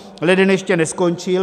Leden ještě neskončil.